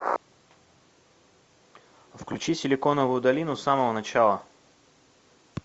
включи силиконовую долину с самого начала